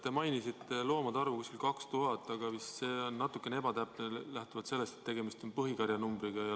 Te mainisite loomade arvu 2000 ringis, aga see vist on natukene ebatäpne, kuna tegemist on põhikarja suurust näitava numbriga.